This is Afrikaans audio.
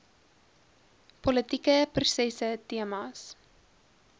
politieke prosesse temas